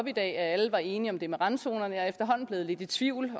i dag at alle var enige om det med randzonerne er efterhånden blevet lidt i tvivl